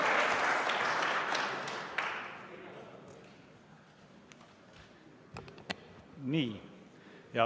Nii.